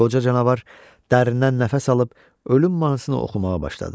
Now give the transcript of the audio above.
Qoca canavar dərindən nəfəs alıb ölüm mahnısını oxumağa başladı.